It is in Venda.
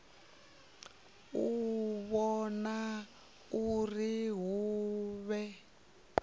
u vhona uri hu vhe